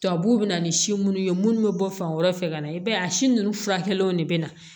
Tubabuw bɛ na ni si munnu ye munnu bɛ bɔ fan wɛrɛ fɛ ka na i b'a ye a si nunnu furakɛliw de be na